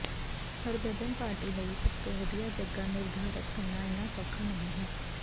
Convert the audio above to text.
Harbhajan party ਲਈ ਸਭ ਤੋਂ ਵਧੀਆ ਜਗ੍ਹਾ ਨਿਰਧਾਰਤ ਕਰਨਾ ਇੰਨਾ ਸੌਖਾ ਨਹੀਂ ਹੈ